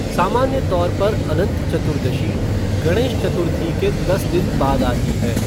सामान्य तौर पर अनंत चतुर्दशी गणेश चतुर्थी के दस दिन बाद आती है।